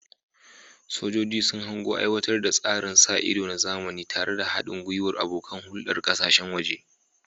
Sojoji sun hango aiwatar da tsarin sa ido na zamani tare da haɗin gwiwar abokan hulɗar ƙasashen waje.